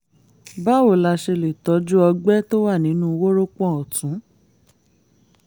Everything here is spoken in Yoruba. báwo la ṣe lè tọ́jú ọgbẹ́ tó wà nínú wórópọ̀n ọ̀tún?